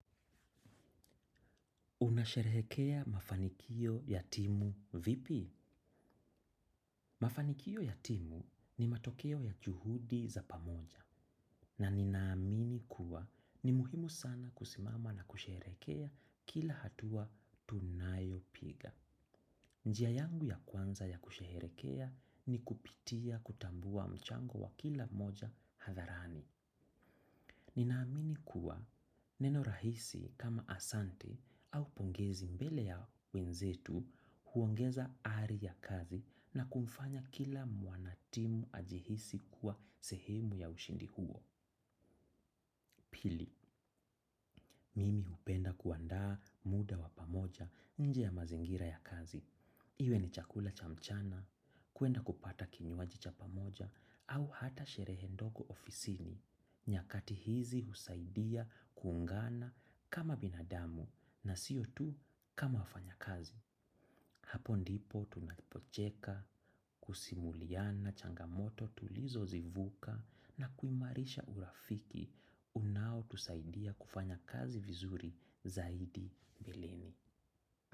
Unasherehekea mafanikio yatimu vipi? Mafanikio ya timu ni matokeo ya juhudi za pamoja na nina amini kuwa ni muhimu sana kusimama na kusherekea kila hatua tunayo piga. Njia yangu ya kwanza ya kusheherekea ni kupitia kutambua mchango wa kila moja hatharani. Nina amini kuwa neno rahisi kama asante au pongezi mbele ya wenzetu huongeza ari ya kazi na kumfanya kila mwanatimu ajihisi kuwa sehemu ya ushindi huo. Pili, mimi hupenda kuanda muda wa pamoja nje ya mazingira ya kazi. Iwe ni chakula cha mchana, kuenda kupata kinyuaji cha pamoja au hata shere ndogo ofisini. Nyakati hizi husaidia kuungana kama binadamu na siyo tu kama wafanyakazi. Hapo ndipo tunapocheka, kusimuliana, changamoto, tulizo zivuka na kuimarisha urafiki, unao tusaidia kufanya kazi vizuri zaidi milele.